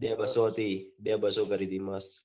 બે બસો હતી બે બસો કરી હતી